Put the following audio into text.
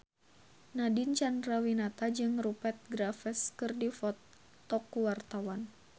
Nadine Chandrawinata jeung Rupert Graves keur dipoto ku wartawan